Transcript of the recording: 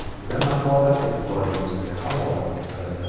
Quyida maqola e’tiboringizga havola etiladi.